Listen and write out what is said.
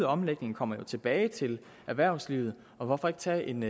omlægningen kommer jo tilbage til erhvervslivet hvorfor ikke tage en